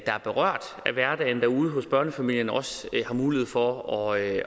er berørt i hverdagen derude i børnefamilierne også har mulighed for at